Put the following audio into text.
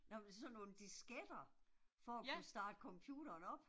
Jamen sådan nogle disketter, for at kunne starte computeren op